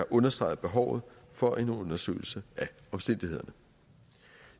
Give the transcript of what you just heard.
understreget behovet for en undersøgelse af omstændighederne